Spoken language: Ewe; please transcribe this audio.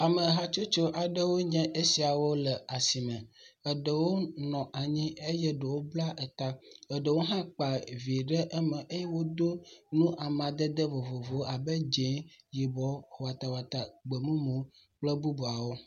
Ame hatsotso aɖewpe nye esiawo le asime. Eɖewo nɔ anyi eye ɖewo bla eta. Ɖewo hã kpa vi ɖe eme eye wodo nu amadede vovovowo abe dz0, yibɔ, watawata, gbemumu kple bubuawo.